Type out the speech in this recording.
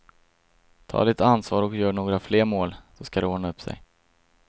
Ta ditt ansvar och gör några fler mål, så ska det ordna upp sig.